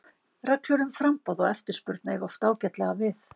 Reglur um framboð og eftirspurn eiga oft ágætlega við.